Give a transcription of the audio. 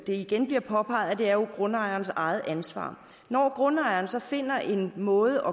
igen blev påpeget at er grundejerens eget ansvar når grundejeren så finder en måde